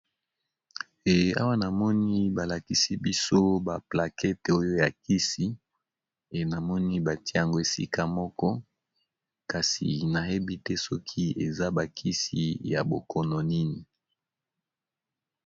Eawa namoni balakisi biso ba plakete oyo ya kisi enamoni batie yango esika moko kasi nayebi te soki eza bakisi ya bokono nini.